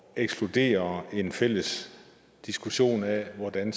ekskludere en fælles diskussion af hvordan